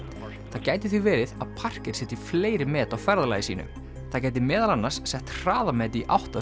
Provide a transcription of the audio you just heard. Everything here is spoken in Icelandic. það gæti því verið að setji fleiri met á ferðalagi sínu það gæti meðal annars sett hraðamet í átt að